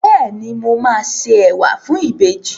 Bẹ́ẹ̀ni, mo ma day ẹwà fún ìbejì